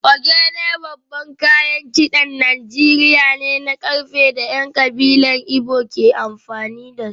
Ogene babban kayan kidan Najeriya ne na karfe da ‘yan kabilar Igbo ke amfani da su